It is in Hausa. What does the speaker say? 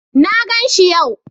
Na ganshi yau.